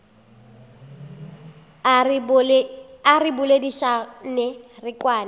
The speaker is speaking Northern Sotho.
a re boledišane re kwane